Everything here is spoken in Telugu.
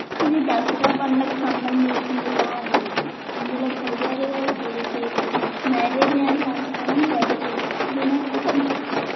ఇది దసరా పండక్కి సంబంధించిందిలా ఉంది ఇందులో పూజారి గారు పూజ చేసి నైవేద్యాన్ని పంచడానికి బయటకు వెళ్లినట్టు కనిపిస్తుంది.